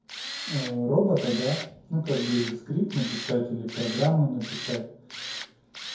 робота да но как бы или скрипт написать или программу написать